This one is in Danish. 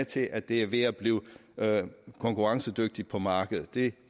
til at det er ved at blive konkurrencedygtigt på markedet jeg